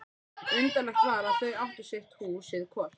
Undarlegt var að þau áttu sitt húsið hvort.